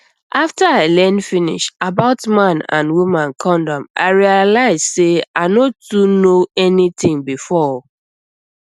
after i learn finish about man and woman condom i realize say i no too know anything before o